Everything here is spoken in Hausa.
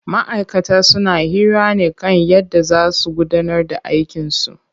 Ma'aikata suna hira ne kan yadda zaa su gudanar da aikin su.